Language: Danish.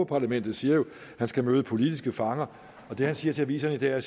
parlamentet siger jo at han skal møde politiske fanger og det han siger til aviserne i dag er at